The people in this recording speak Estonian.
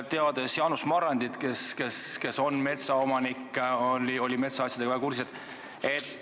Ka Jaanus Marrandi, kes on metsaomanik, oli metsaasjadega väga kursis.